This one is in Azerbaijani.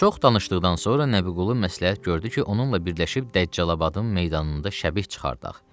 Çox danışdıqdan sonra Nəbiqulu məsləhət gördü ki, onunla birləşib Dəccalabadın meydanında şəbih çıxardaq.